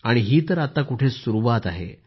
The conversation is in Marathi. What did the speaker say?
आणि ही तर आत्ता कुठे सुरूवात झाली आहे